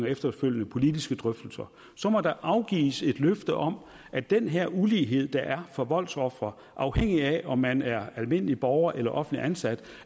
efterfølgende politiske drøftelser så må der afgives et løfte om at den her ulighed der er for voldsofre afhængigt af om man er almindelig borger eller offentligt ansat